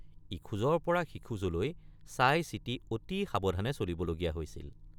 ইখোজৰপৰা সিখোজলৈ চাইচিতি অতি সাৱধানে চলিবলগীয়া হৈছিল।